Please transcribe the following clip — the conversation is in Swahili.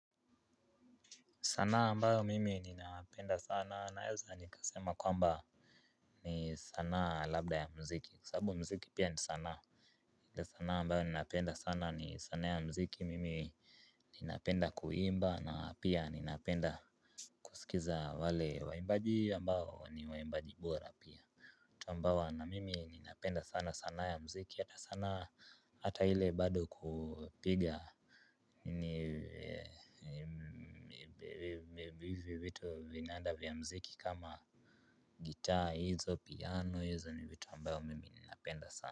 Sanaa ambayo mimi ninapenda sana naeza nikasema kwamba ni sanaa labda ya mziki kwa sabu mziki pia ni sanaa. Ile sana ambayo ninapenda sana ni sanaa ya mziki mimi ninapenda kuimba na pia ninapenda naskiza wale waimbaji ambao ni waimbaji bora Tambawa na mimi ninapenda sana sana ya mziki hata sanaa hata hile bado kupiga nini hivyo vitu vinaanda vya mziki kama gitaa hizo piano hizo ni vitu ambawa mimi ninapenda sana.